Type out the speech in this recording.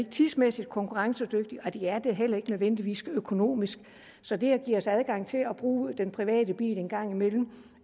tidsmæssigt konkurrencedygtige og de er det heller ikke nødvendigvis økonomisk så det at give os adgang til at bruge den private bil en gang imellem